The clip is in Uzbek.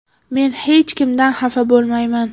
Men hech kimdan xafa bo‘lmayman.